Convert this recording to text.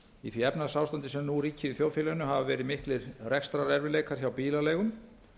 í því efnahagsástandi sem nú ríkir í þjóðfélaginu hafa verið miklir rekstrarerfiðleikar hjá bílaleigum